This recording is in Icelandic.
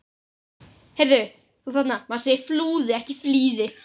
Fjöldi manns flýði land.